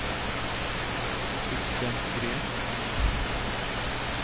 Sixten Green